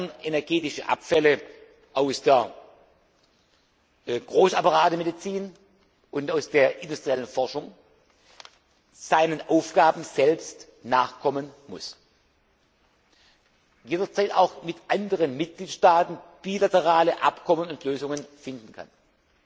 kernenergetische Abfälle aus der Großapparatemedizin und aus der industriellen Forschung seinen Aufgaben selbst nachkommen und jederzeit auch mit anderen Mitgliedstaaten bilaterale Abkommen und Lösungen finden